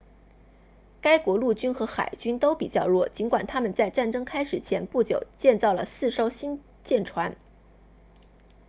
该国陆军和海军都比较弱尽管他们在战争开始前不久建造了四艘新舰船